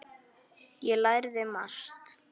Ég lærði margt.